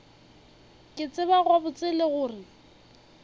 ke tseba gabotse gore le